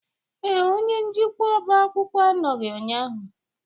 Ee, onye njikwa ọba akwụkwọ anọghị ụnyahụ.